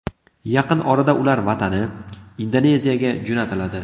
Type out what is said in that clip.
Yaqin orada ular vatani, Indoneziyaga jo‘natiladi.